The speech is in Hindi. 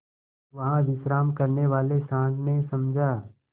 वहाँ विश्राम करने वाले सॉँड़ ने समझा